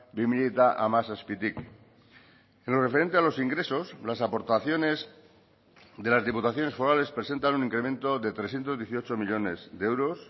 bi mila hamazazpitik en lo referente a los ingresos las aportaciones de las diputaciones forales presentan un incremento de trescientos dieciocho millónes de euros